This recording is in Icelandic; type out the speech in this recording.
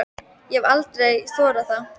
Ég hef bara aldrei þorað það.